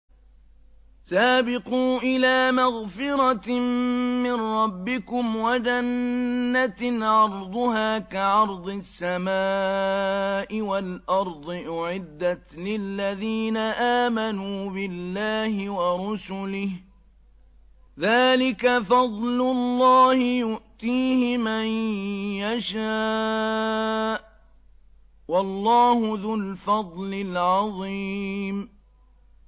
سَابِقُوا إِلَىٰ مَغْفِرَةٍ مِّن رَّبِّكُمْ وَجَنَّةٍ عَرْضُهَا كَعَرْضِ السَّمَاءِ وَالْأَرْضِ أُعِدَّتْ لِلَّذِينَ آمَنُوا بِاللَّهِ وَرُسُلِهِ ۚ ذَٰلِكَ فَضْلُ اللَّهِ يُؤْتِيهِ مَن يَشَاءُ ۚ وَاللَّهُ ذُو الْفَضْلِ الْعَظِيمِ